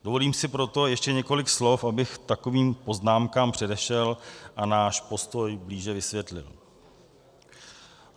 Dovolím si proto ještě několik slov, abych takovým poznámkám předešel a náš postoj blíže vysvětlil.